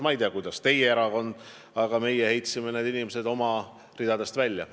Ma ei tea, kuidas teie erakonnas on, aga meie heitsime need inimesed oma ridadest välja.